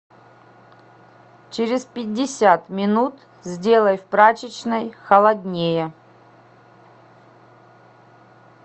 через пятьдесят минут сделай в прачечной холоднее